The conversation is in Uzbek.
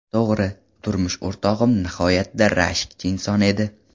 To‘g‘ri, turmush o‘rtog‘im nihoyatda rashkchi inson edi.